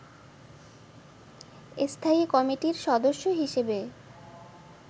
স্থায়ী কমিটির সদস্য হিসেবে